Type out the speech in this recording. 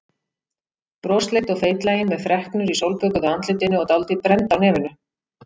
Brosleit og feitlagin með freknur í sólbökuðu andlitinu og dálítið brennd á nefinu.